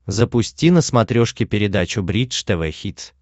запусти на смотрешке передачу бридж тв хитс